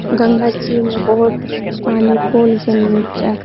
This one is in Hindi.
गंगा जी में बोहोत पानी पोल के निचा --